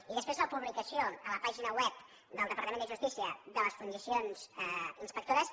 i després la publicació a la pàgina web del departament de justícia de les funcions inspectores